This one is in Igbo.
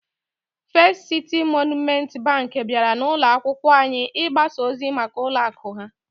First City Monument Bank bịara n'ụlọ akwụkwọ anyị ịgbasa ozi maka ụlọ akụ ha